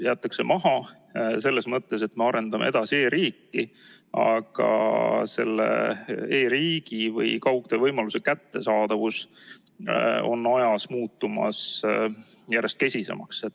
Jäetakse maha selles mõttes, et me arendame edasi e-riiki, aga selle e-riigi või kaugtöövõimaluse kättesaadavus on ajas muutumas järjest kesisemaks.